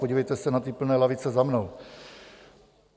Podívejte se na ty plné lavice za mnou.